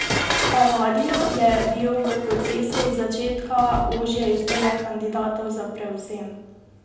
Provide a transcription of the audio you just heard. Palladio je bil v procesu od začetka ožje izbire kandidatov za prevzem.